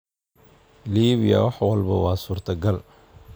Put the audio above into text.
Liibiya wax walba waa suurtagal.